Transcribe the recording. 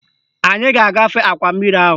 Anyị ga-agafe akwa mmiri ahụ